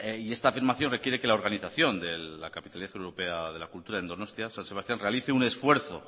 y esta afirmación requiere que la organización de la capitalidad europea de la cultura en donostia san sebastián realice un esfuerzo